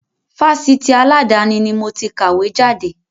Fásitì aladani ni moti kàwé jáde.